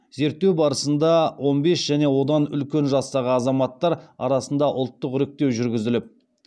зерттеу барысында он бес және одан үлкен жастағы азаматтар арасында ұлттық іріктеу жүргізіліп